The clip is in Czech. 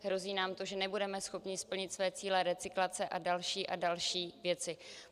Hrozí nám to, že nebudeme schopni splnit své cíle recyklace a další a další věci.